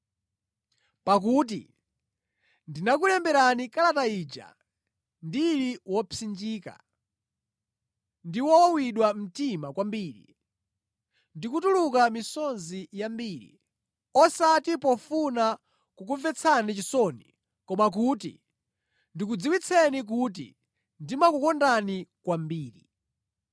Pakuti ndinakulemberani kalata ija ndili wopsinjika ndi wowawidwa mtima kwambiri ndi kutuluka misozi yambiri, osati pofuna kukumvetsani chisoni koma kuti ndikudziwitseni kuti ndimakukondani kwambiri.